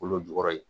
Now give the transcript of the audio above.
Kolo jukɔrɔ ye